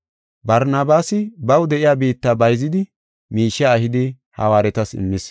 Barnabaasi baw de7iya biitta bayzidi miishiya ehidi hawaaretas immis.